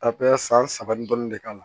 A bɛ san saba ni dɔɔnin de k'a la